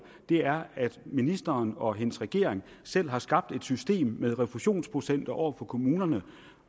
er at ministeren og hendes regering selv har skabt et system med refusionsprocenter over for kommunerne